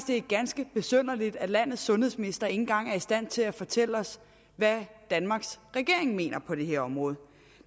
det er ganske besynderligt at landets sundhedsminister ikke engang er i stand til at fortælle os hvad danmarks regering mener på det her område